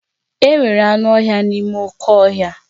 Enwere anụ ọhịa n'ime oké ọhịa